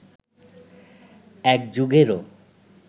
এক যুগেরও